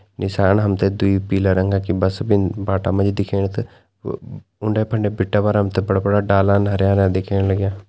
निसान हमते दुइ पीला रंगा की बस बिन बाटा म दिख्येण क उंडे-फंडे बीटे पर हमते बड़ा-बड़ा डालन हरयां -हरयां दिख्येण लाग्यां।